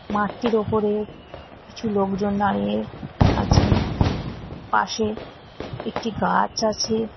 মাঠটির ওপরে কিছু লোকজন দাঁড়িয়ে আছেন পাশে একটি গাছ আছে।